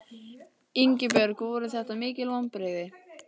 Ingibjörg voru þetta mikil vonbrigði?